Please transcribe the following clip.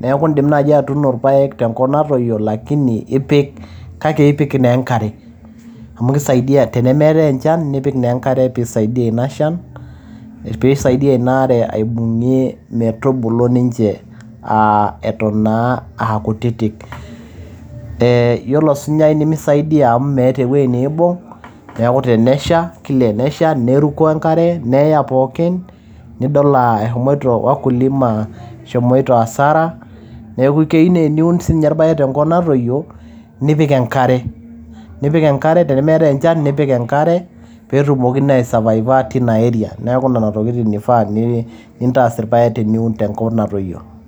neeku indim naaji atuuno irpayek tenkop natoyio lakini kake ipik naa enkare amu kisaidia tenemeetay enchan nipik naa enkare piisaidia ina shan piisaidia ina are aibung'ie metubulu ninche aa eton naa aa kutitik ee yiolo osunyai nemisaidia amu meeta ewueji niibung neeku tenesha kila tenesha neruko enkare neya pookin nidol eshomoito wakulima eshomoito asara neeku keyieu naa teniun siininche irpayek tenkop natoyio nipik enkare tenemeetay enchan nipik enkare peetumoki naa ai savaiva tina area neeku nena tokitin ifaa nintaas irpayek teniun tenkop natoyio.